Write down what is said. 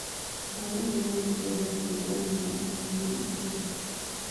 ndagũthaĩtha ndĩrenda kũĩgwa malaika kũũma makeba